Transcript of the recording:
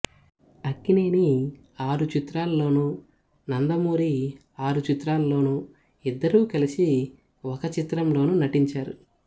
అక్కినేని ఆరు చిత్రాల్లోనూ నందమూరి ఆరు చిత్రాల్లోనూ ఇద్దరూ కలసి ఒక చిత్రంలోనూ నటించారు